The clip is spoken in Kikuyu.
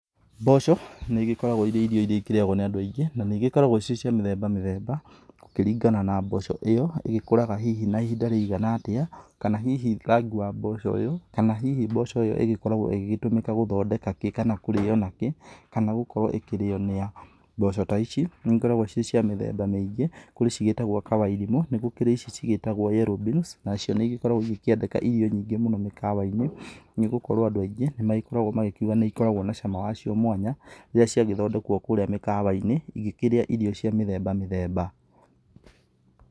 Mboco, nĩ igĩkoragwo irĩ irio iria irĩagwo nĩ andũ aingĩ. Na nĩ igĩkoragwo irĩ cia mĩthemba mĩthemba, gũkĩringana na mboco ĩo, ĩgĩkũraga hihi na ihinda rĩigana atĩa, kana hihi rangi wa mboco ĩo, kana hihi mboco ĩo ĩgĩkoragwo ĩgĩgĩtũmĩka gũthondeka kĩ kana kũrĩo nakĩ, kana gũkorwo ĩkĩrĩo nĩ a. Mboco ta ici, nĩikoragwo ciĩ cia mĩthemba mĩingĩ. Kũrĩ cĩgĩtagwo kawairimũ, nĩgũkĩrĩ ici cigĩtagwo yellow beans nacio nĩigĩkoragwo igĩkĩendeka irio nyingĩ mũno mĩkawa-inĩ, nĩgũkorwo andũ aingĩ nĩmagĩkoragwo magĩkiuga nĩikoragwo na cama wacio mwanya, rĩrĩa ciagĩthondekwo kũrĩa mĩkawa-inĩ, igĩkĩrĩa irio cia mĩthemba mĩthemba.